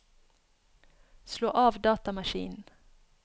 slå av datamaskinen